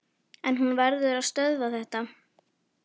En hún verður að stöðva þetta.